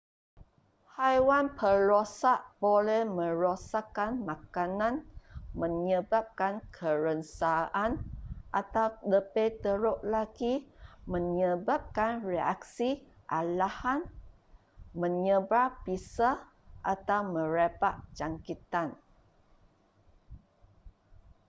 haiwan perosak boleh merosakkan makanan menyebabkan kerengsaan atau lebih teruk lagi menyebabkan reaksi alahan menyebar bisa atau merebak jangkitan